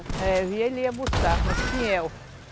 É, eu via ele ia buscar no espinhel.